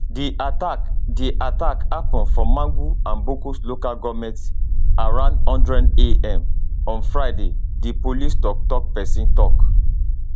di attack di attack happun for mangu and bokkos local goment around one hundred am on friday di police toktok pesin tok